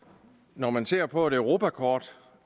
når man ser på et europakort